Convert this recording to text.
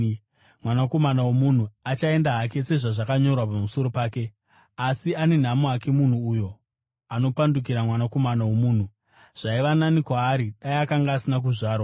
Mwanakomana woMunhu achaenda hake sezvazvakanyorwa pamusoro pake. Asi ane nhamo munhu uyo anopandukira Mwanakomana woMunhu! Zvaiva nani kwaari dai akanga asina kuzvarwa.”